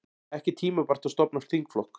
Ekki tímabært að stofna þingflokk